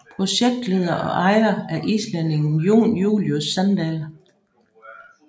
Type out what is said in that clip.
Projektleder og ejer er islændingen Jon Julius Sandal